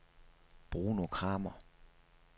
Bruno Kramer